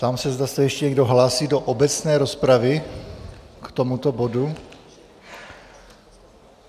Ptám se, zda se ještě někdo hlásí do obecné rozpravy k tomuto bodu.